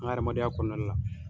An ka adamadenya kɔnɔnali la.